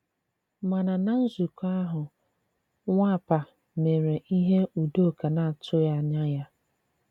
Màna na nzụ̀kọ̀ ahụ̀ Nwàpà mèré ihe Udòkà na-àtụ̀ghi ànyà ya.